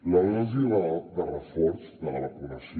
la dosi de reforç de la vacunació